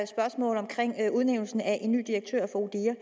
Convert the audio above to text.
spørgsmål om udnævnelsen af en ny direktør for odihr